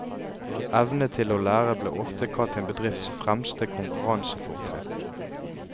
Evne til å lære blir ofte kalt en bedrifts fremste konkurransefortrinn.